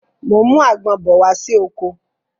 Mo ń mú àgbon bọ̀ wá sí oko